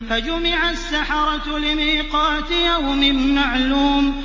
فَجُمِعَ السَّحَرَةُ لِمِيقَاتِ يَوْمٍ مَّعْلُومٍ